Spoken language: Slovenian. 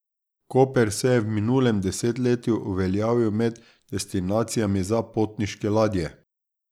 Koper se je v minulem desetletju uveljavil med destinacijami za potniške ladje.